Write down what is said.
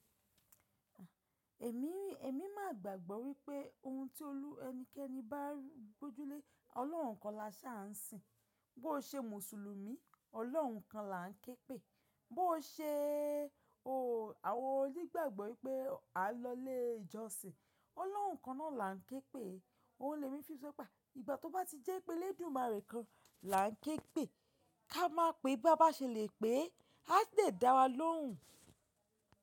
Èmi, èmi máa gbàgbọ́ wípé ohun tí olú ẹnikẹ́ni bá gbójú lé, Ọlọ́run kan la ṣe á ń sìn. Bó ṣe Mùsùlùmí, Ọlọ́run kan là ń ké pèé, bó ṣe o àwọn onígbàgbọ́ wípé a lọlé ìjọsìn, Ọlọ́run kan náà là ń ké pèé. Ohun lè mí fi sọpa, ìgbà tó bá ti jẹ́ pé Eledumare kan là ń ké pèé, ká máa pe bá bá ṣe le pé a ti le dára lóhùn.